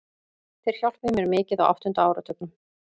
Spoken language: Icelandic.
Þeir hjálpuðu mér mikið á áttunda áratugnum.